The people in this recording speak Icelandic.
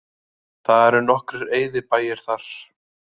Það eru nokkrir eyðibæir þar